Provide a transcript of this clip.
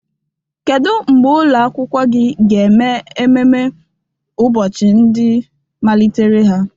Kedu mgbe ụlọ akwụkwọ gị ga-eme ememme ụbọchị ndị malitere ha?